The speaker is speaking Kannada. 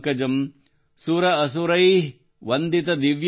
ಸುರ ಅಸುರೈಃ ವಂದಿತ ದಿವ್ಯ ರೂಪಂ